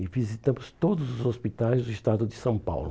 E visitamos todos os hospitais do estado de São Paulo.